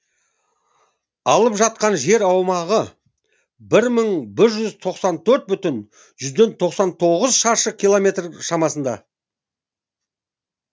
алып жатқан жер аумағы бір мың бір жүз тоқсан төрт бүтін жүзден тоқсан тоғыз шаршы километр шамасында